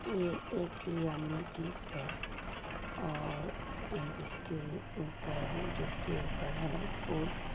ये एक yummy dish है और अं जिसके ऊपर जिसके ऊपर है फूड --